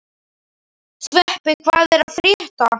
Sveppi, hvað er að frétta?